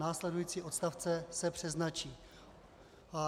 Následující odstavce se přeznačí.